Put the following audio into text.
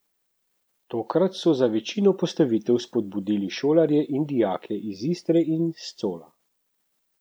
Tokrat so za večino postavitev spodbudili šolarje in dijake iz Istre in s Cola.